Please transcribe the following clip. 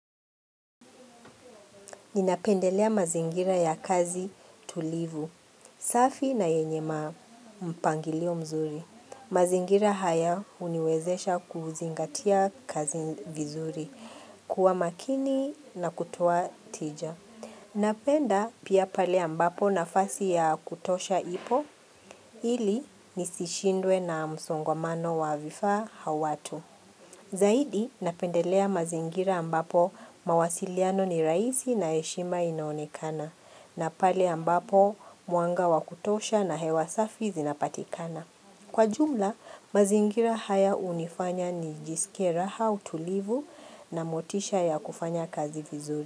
Ninapendelea mazingira ya kazi tulivu, safi na yenye ma mpangilio mzuri. Mazingira haya huniwezesha kuzingatia kazi vizuri, kuwa makini na kutoa tija. Napenda pia pale ambapo nafasi ya kutosha ipo, ili nisishindwe na msongamano wa vifaa au watu. Zaidi napendelea mazingira ambapo mawasiliano ni raaisi na heshima inaonekana na pale ambapo mwanga wa kutosha na hewa safi zinapatikana. Kwa jumla, mazingira haya hunifanya nijisikie raha, utulivu na motisha ya kufanya kazi vizuri.